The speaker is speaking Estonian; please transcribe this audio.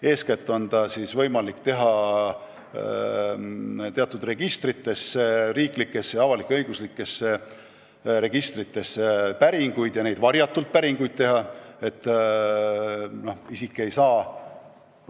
Eeskätt on võimalik teha varjatult teatud riiklikesse ja avalik-õiguslikesse registritesse päringuid, nii et konkreetne isik seda ei tea.